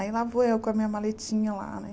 Aí lá vou eu com a minha maletinha lá, né?